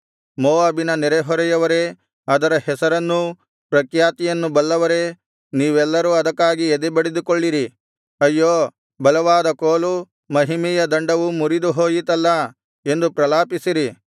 ಮೋವಾಬಿನ ನೆರೆಹೊರೆಯವರೇ ಅದರ ಹೆಸರನ್ನೂ ಪ್ರಖ್ಯಾತಿಯನ್ನು ಬಲ್ಲವರೇ ನೀವೆಲ್ಲರೂ ಅದಕ್ಕಾಗಿ ಎದೆಬಡುಕೊಳ್ಳಿರಿ ಅಯ್ಯೋ ಬಲವಾದ ಕೋಲು ಮಹಿಮೆಯ ದಂಡವು ಮುರಿದುಹೋಯಿತಲ್ಲಾ ಎಂದು ಪ್ರಲಾಪಿಸಿರಿ